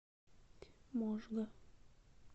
можга